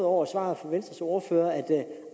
over svaret fra venstres ordfører